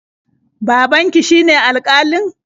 Babanki shine alƙalin?